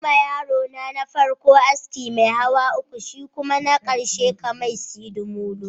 Yima yarona na farko aski mai hawa uku, shikuma na karshe ka mishi sidimolo